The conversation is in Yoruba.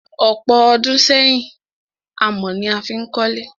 Ọ̀pọ̀ ọdún sẹ́yìn, amọ̀ ni a fí n kólé.